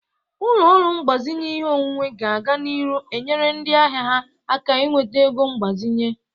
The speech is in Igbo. Ụlọ ọrụ ego mgbazinye ihe onwunwe ga-aga n'iru enyere ndị ahia ha aka inweta ego mgbazinye.